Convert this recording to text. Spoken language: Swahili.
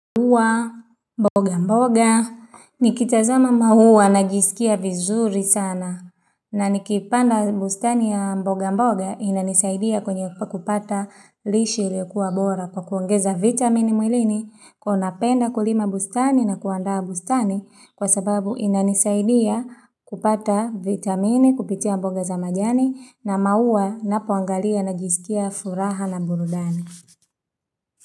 Huwa, mboga mboga, nikitazama mauwa najisikia vizuri sana, na nikipanda bustani ya mboga mboga inanisaidia kwenye kupata lishe ilikuwa bora kwa kuongeza vitamine mwilini kuwa napenda kulima bustani na kuandaa bustani kwa sababu inanisaidia kupata vitamine kupitia mboga za majani na mauwa napoangalia najisikia furaha na burudani.